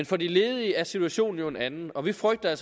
for de ledige er situationen jo en anden og vi frygter at